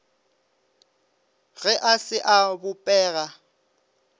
ge a se a bopega